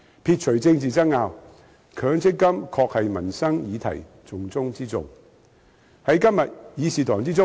撇除政治爭拗，強積金確是民生議題的重中之重。